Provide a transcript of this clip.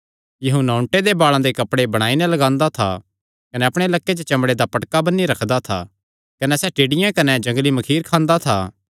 यूहन्ना ऊँटे दे बाल़ां दे कपड़े बणाई नैं लगांदा था कने अपणे लक्के च चमड़े दा पटका बन्नी रखदा था कने सैह़ टिड्डियां कने जंगली मखीर खांदा था